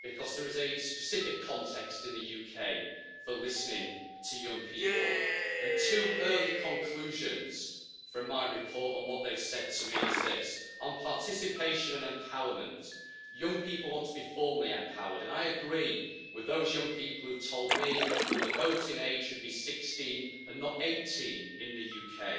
Because there is a specific context in the UK for listening to young people, and two early conclusions from my report on what they have said to me is this on participation and empowerment, young people want to be formally empowered, and I agree with those young people who have told me that the voting age should be 16 and not 18 in the UK.